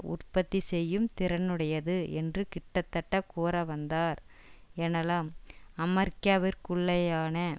உற்பத்தி செய்யும் திறனுடையது என்று கிட்டத்தட்ட கூற வந்தார் எனலாம் அமெரிக்காவிற்குள்ளேயான